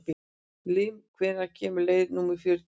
Líam, hvenær kemur leið númer fjörutíu?